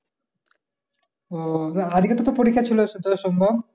আহ আজকে তো তর পরীক্ষা ছিল ?